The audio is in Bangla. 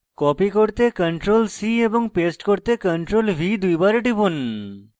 copy করতে ctrl + c এবং paste করতে ctrl + v দুইবার টিপুন